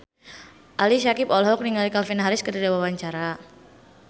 Ali Syakieb olohok ningali Calvin Harris keur diwawancara